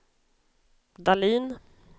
Dahlin